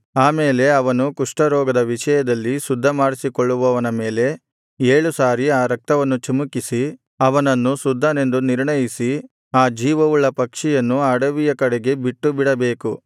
ಆಮೇಲೆ ಅವನು ಕುಷ್ಠರೋಗದ ವಿಷಯದಲ್ಲಿ ಶುದ್ಧಮಾಡಿಸಿಕೊಳ್ಳುವವನ ಮೇಲೆ ಏಳು ಸಾರಿ ಆ ರಕ್ತವನ್ನು ಚಿಮುಕಿಸಿ ಅವನನ್ನು ಶುದ್ಧನೆಂದು ನಿರ್ಣಯಿಸಿ ಆ ಜೀವವುಳ್ಳ ಪಕ್ಷಿಯನ್ನು ಅಡವಿಯ ಕಡೆಗೆ ಬಿಟ್ಟುಬಿಡಬೇಕು